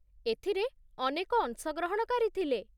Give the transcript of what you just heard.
ଏଥିରେ ଅନେକ ଅଂଶଗ୍ରହଣକାରୀ ଥିଲେ